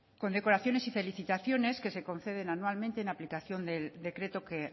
condecoraciones y felicitaciones que se conceden anualmente en aplicación del decreto que